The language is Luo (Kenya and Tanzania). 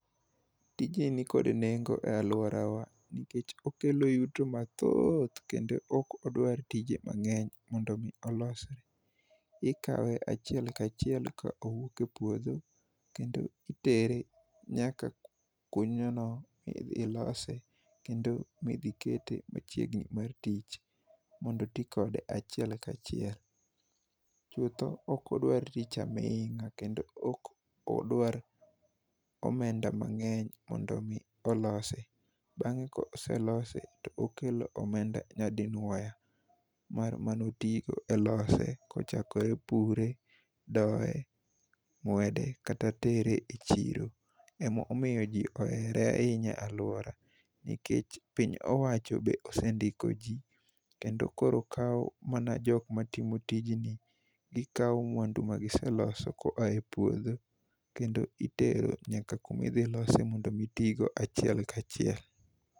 Tijni nikod nengo e alworawa nikech okelo yuto mathoth kendo ok odwar tije mangény mondo omi olosre. Ikawe a chiel ka achiel ka owuok e puodho, kendo itere nyaka ilose, kendo midhi kete machiegni mar tich, mondo oti kode achiel ka achiel. Chutho ok odwar tich amingá kendo ok odwar omenda mangény mondo omi olose. Bangé ka oselose, to okelo omenda nyadinwoya mar mane otigo e lose. chakore pure, doye, ng'wede kata tere e chiro. Ema omiyo ji ohere ahinya e alwora. Nikech piny owacho be osendiko ji, kendo koro kawo mana jok ma timo tijni, Gikawo mwandu manegiseloso koae puodho, kendo itero nyaka kuma idhi lose mondo gitigo achiel ka achiel.